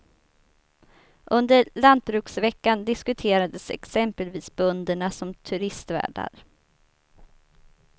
Under lantbruksveckan diskuterades exempelvis bönderna som turistvärdar.